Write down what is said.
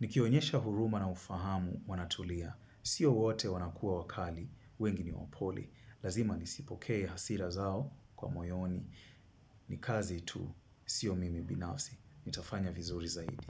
Nikionyesha huruma na ufahamu wanatulia. Sio wote wanakua wakali, wengi ni wapole. Lazima nisipoke hasira zao kwa moyoni. Ni kazi tu, sio mimi binafsi. Nitafanya vizuri zaidi.